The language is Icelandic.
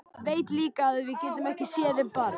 Veit líka að við getum ekki séð um barn.